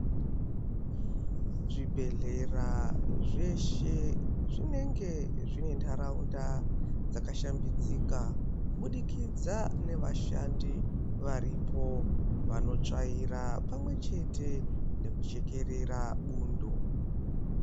Zvibhedhlera zveshe zvinenge zvine ndaraunda dzakashambidzika kubudikidza nevashandi varipo vanotsvaira pamwechete nekuchekerera bundo.